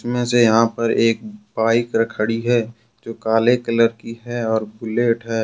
इनमें से यहां पर एक बाइक खड़ी है जो काले कलर की है और बुलेट है।